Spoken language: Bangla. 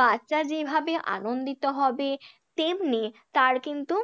বাচ্চা যেভাবে আনন্দিত হবে তেমনি তার কিন্তু